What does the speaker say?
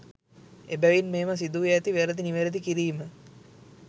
එබැවින් මෙම සිදුව ඇති වැරදි නිවැරදි කිරීම